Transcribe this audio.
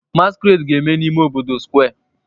Masquerade ga-eme n'ime obodo Square